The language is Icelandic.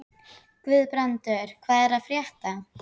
Guðbrandur, hvað er að frétta?